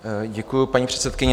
Děkuji, paní předsedkyně.